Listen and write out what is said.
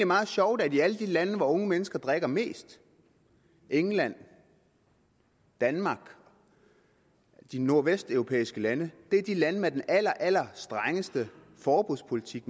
meget sjovt at alle de lande hvor unge mennesker drikker mest england danmark de nordvesteuropæiske lande er de lande med den allerallerstrengeste forbudspolitik